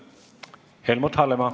Helmut Hallemaa.